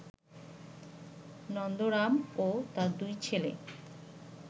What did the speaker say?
নন্দরাম ও তার দুই ছেলে